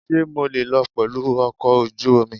Ṣé mo lè lọ pẹ̀lú ọkọ̀ ojú omi?